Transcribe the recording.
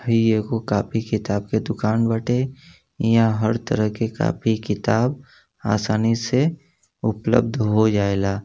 हई एगो कॉपी किताब का दुकान बाटे इहाँ हर तरह के कापी- किताब आसानी से उपलब्ध हो जाएला।